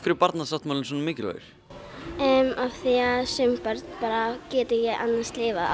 Barnasáttmálinn svona mikilvægur af því sum börn geta ekki lifað án